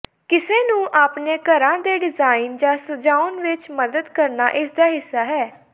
ਕਿਸੇ ਨੂੰ ਆਪਣੇ ਘਰਾਂ ਦੇ ਡਿਜ਼ਾਇਨ ਜਾਂ ਸਜਾਉਣ ਵਿਚ ਮਦਦ ਕਰਨਾ ਇਸਦਾ ਹਿੱਸਾ ਹੈ